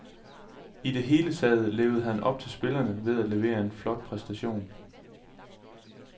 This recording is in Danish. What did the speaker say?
I det hele taget levede han op til spillerne ved at levere en flot præstation.